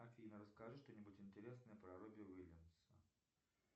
афина расскажи что нибудь интересное про робби уильямса